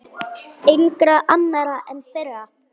Engra annarra en þeirra.